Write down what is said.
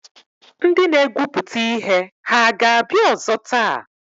Ndị na-egwupụta ihe hà ga-abịa ọzọ taa?